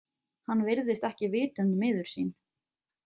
Hann virðist ekki vitund miður sín.